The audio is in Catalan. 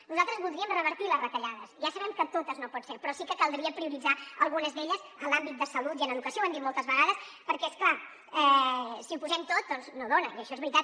nosaltres voldríem revertir les retallades ja sabem que totes no pot ser però sí que caldria prioritzar algunes d’elles en l’àmbit de salut i en educació ho hem dit moltes vegades perquè és clar si ho posem tot doncs no dona i això és veritat